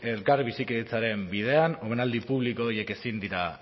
elkarbizitzaren bidean omenaldi publiko horiek ezin dira